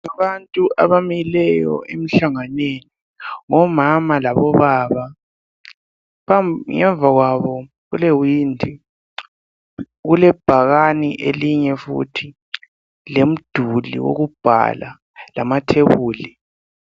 Abantu abamileyo emhlanganweni ngomama labobaba. Ngemva kwabo kulewindi. Kulebhakani elinye futhi, lomduli wokubhala, lamathebuli.